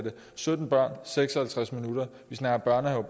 sytten børn i seks og halvtreds minutter og vi snakker